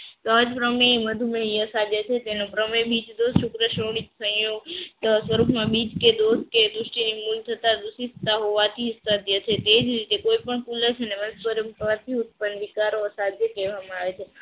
સમાજ કરમની તેનો સ્વરૂપમાં બીજ કે દોસ્ત વૃષ્ટિની દુષિતા હોવાથી સત્ય છે તે જ રીતે કોઈ પણ ઉત્પન્ન વિચારો અને સ્વાધ્યાય કહેવામાં આવે છે સાધ્ય કહેવામાં આવે છે